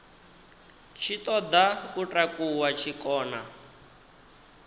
tshi ṱoḓa u takuwa tshikona